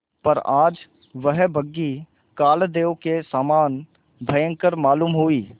पर आज वह बग्घी कालदेव के समान भयंकर मालूम हुई